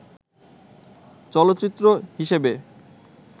চলচ্চিত্র হিসেবে